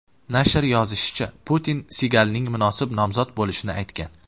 Nashr yozishicha, Putin Sigalning munosib nomzod bo‘lishini aytgan.